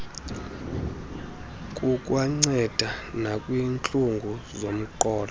kukwanceda nakwiintlungu zomqolo